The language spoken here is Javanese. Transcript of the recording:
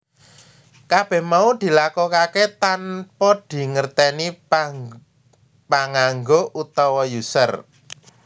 Kabèh mau dilakokaké tanpa dingertèni panganggo utawa user